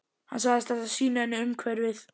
Hann sagðist ætla að sýna henni umhverfið.